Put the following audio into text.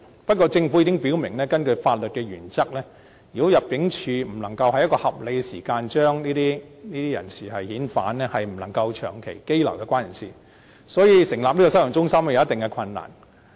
不過，政府已經表明，根據法律原則，如果入境處不能夠在一個合理時間內將這些人士遣返，則不能長期羈留有關人士，所以，成立收容中心，會有一定的困難。